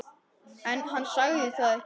En hann sagði það ekki.